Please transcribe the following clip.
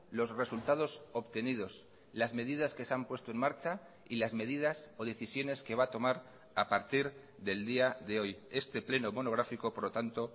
los resultados obtenidos las medidas que se han puesto en marcha y las medidas o decisiones que va a tomar a partir del día de hoy este pleno monográfico por lo tanto